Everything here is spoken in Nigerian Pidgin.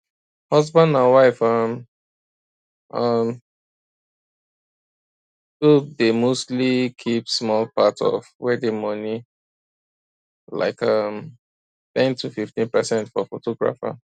husband and wife um um tobe dey mostly keep small part of wedding money like um ten to 15 percent for photographer